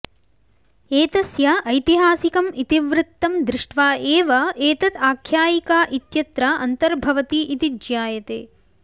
एतस्य ऐतिहासिकम् इतिवृत्तं दृष्ट्वा एव एतत् आख्यायिका इत्यत्र अन्तर्भवति इति ज्ञायते